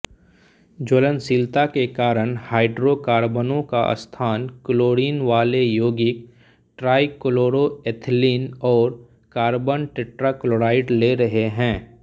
ज्वलनशीलता के कारण हाइड्रोकार्बनों का स्थान क्लोरीनवाले यौगिक ट्राइक्लोरोएथिलीन और कार्बन टेट्राक्लोराइड ले रहे हैं